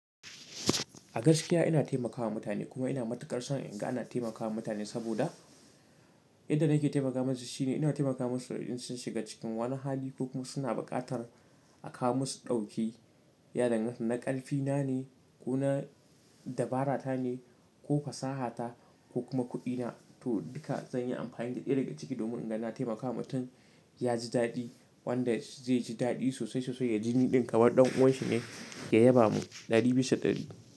A gaskiya ina taimakawa mutane kuma ina matuƙar son in ga ana taimakawa mutane saboda inda nake taimaka masu shine ina taimakawa masu in sun shiga cikin wani hali ko kuma suna buƙatar a kawo masu ɗauki. Ya danganta na ƙarfi na ne ko na dabarata ne ko fasahata ko kuma kuɗina, to duka zan yi amfani da ɗaya daga ciki domin in ga na taimakawa mutum ya ji daɗi wanda zai ji daɗi sosai sosai ya ji ni ɗin kamar ɗan uwanshi ne ya yaba mu ɗari bisa ɗari.